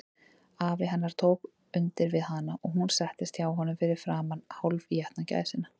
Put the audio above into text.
Afi hennar tók undir við hana, og hún settist hjá honum fyrir framan hálfétna gæsina.